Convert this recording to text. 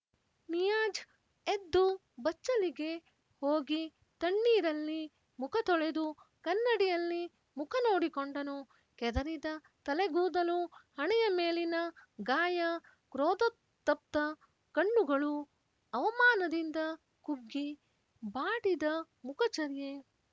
ನಿಯಾಜ್ ಎದ್ದು ಬಚ್ಚಲಿಗೆ ಹೋಗಿ ತಣ್ಣೀರಲ್ಲಿ ಮುಖ ತೊಳೆದು ಕನ್ನಡಿಯಲ್ಲಿ ಮುಖ ನೋಡಿಕೊಂಡನು ಕೆದರಿದ ತಲೆಗೂದಲು ಹಣೆಯ ಮೇಲಿನ ಗಾಯ ಕ್ರೋಧತಪ್ತ ಕಣ್ಣುಗಳು ಅವಮಾನದಿಂದ ಕುಬ್ಜ್ಜಿಬಾಡಿದ ಮುಖಚರ್ಯೆ